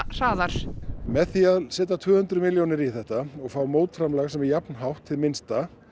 hraðar með því að setja tvö hundruð milljónir í þetta og fá mótframlag sem er jafnhátt hið minnsta